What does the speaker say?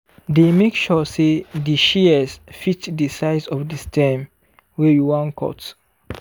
dey make sure say di shears fit di size of di stem wey you wan cut.